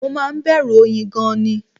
Mo máa ń bẹ̀rù oyin gan-an ni